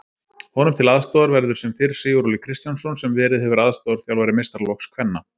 Honum til aðstoðar verður sem fyrr Siguróli Kristjánsson sem verið hefur aðstoðarþjálfari meistaraflokks kvenna.